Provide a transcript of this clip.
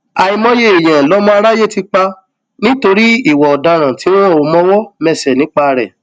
àìmọye èèyàn lọmọ aráyé ti pa nítorí ìwà ọdaràn tí wọn ò mọwọ mẹsẹ nípa rẹ